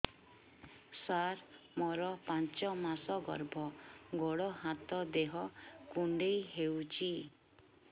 ସାର ମୋର ପାଞ୍ଚ ମାସ ଗର୍ଭ ଗୋଡ ହାତ ଦେହ କୁଣ୍ଡେଇ ହେଉଛି